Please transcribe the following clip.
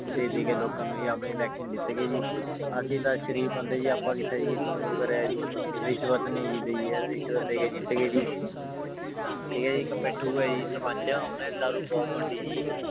ਦੇ ਦੇ ਕੇ ਲੋਕਾਂ ਨੂੰ ਜੀ ਆਪਣੇ election ਜਿੱਤ ਗਏ ਜੀ, ਅਸੀਂ ਤਾਂ ਸਰੀਫ਼ ਬੰਦੇ ਜੀ ਆਪਾਂ ਉਹ ਕਰਿਆ ਜੀ, ਰਿਸਵਤ ਨੀ ਜੀ ਲਈ ਇਹ ਰਿਸਵਤ ਦੇ ਕੇ ਜਿੱਤ ਗਏ ਜੀ ਠੀਕ ਹੈ ਜੀ ਇੱਕ ਮਿੱਠੂ ਹੈ ਜੀ ਸਰਪੰਚ ਉਹਨੇ ਦਾਰੂ ਬਹੁਤ ਵੰਡੀ ਜੀ।